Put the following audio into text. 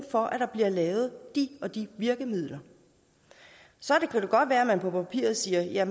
for at der bliver lavet de og de virkemidler så kan det godt være at man på papiret siger